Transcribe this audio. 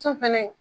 So fɛnɛ